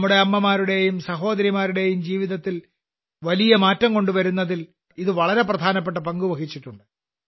നമ്മുടെ അമ്മമാരുടെയും സഹോദരിമാരുടെയും ജീവിതത്തിൽ വലിയ മാറ്റം കൊണ്ടുവരുന്നതിൽ ഇത് വളരെ പ്രധാനപ്പെട്ട പങ്ക് വഹിച്ചിട്ടുണ്ട്